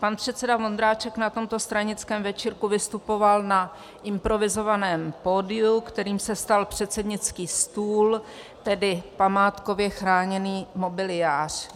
Pan předseda Vondráček na tomto stranickém večírku vystupoval na improvizovaném pódiu, kterým se stal předsednický stůl, tedy památkově chráněný mobiliář.